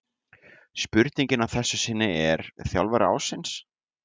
Spurningin að þessu sinni er: Þjálfari ársins?